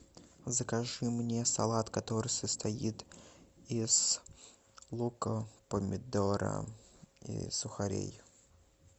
закажи мне салат который состоит из лука помидора и сухарей